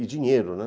E dinheiro, né?